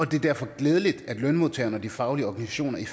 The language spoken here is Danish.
det er derfor glædeligt at lønmodtagerne og de faglige organisationer i